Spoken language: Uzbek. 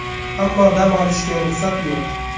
Ammo dam olishga ruxsat yo‘q.